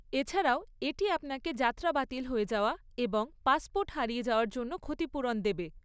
এছাড়াও, এটি আপনাকে যাত্রা বাতিল হয়ে যাওয়া এবং পাসপোর্ট হারিয়ে যাওয়ার জন্য ক্ষতিপুরণ দেবে।